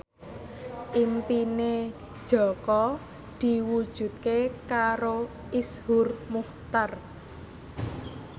impine Jaka diwujudke karo Iszur Muchtar